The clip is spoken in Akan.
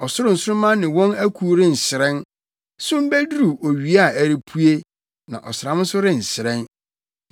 Ɔsoro nsoromma ne wɔn akuw renhyerɛn. Sum beduru owia a ɛrepue na ɔsram nso renhyerɛn.